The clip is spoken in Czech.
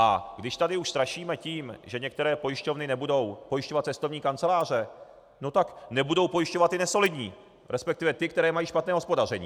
A když tady už strašíme tím, že některé pojišťovny nebudou pojišťovat cestovní kanceláře, no tak nebudou pojišťovat ty nesolidní, respektive ty, které mají špatné hospodaření.